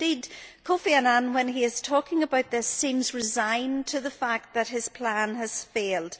Indeed Kofi Annan, when he is talking about this, seems resigned to the fact that his plan has failed.